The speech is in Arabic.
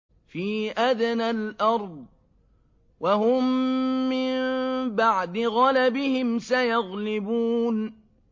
فِي أَدْنَى الْأَرْضِ وَهُم مِّن بَعْدِ غَلَبِهِمْ سَيَغْلِبُونَ